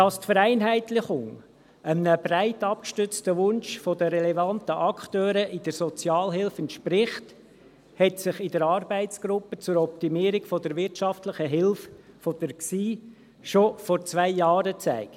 Dass die Vereinheitlichung einem breit abgestützten Wunsch der relevanten Akteure in der Sozialhilfe entspricht, hat sich in der Arbeitsgruppe der GSI zur Optimierung der wirtschaftlichen Hilfe schon vor zwei Jahren gezeigt.